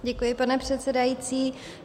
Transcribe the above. Děkuji, pane předsedající.